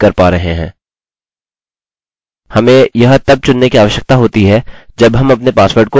किन्तु यह password dbpassword के बराबर है अतः हम तुलना नहीं कर पा रहे हैं